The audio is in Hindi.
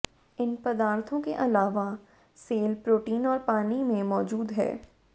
इन पदार्थों के अलावा सेल प्रोटीन और पानी में मौजूद हैं